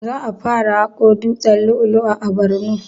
Za a fara haƙo dutsen lu'u lu'u a borno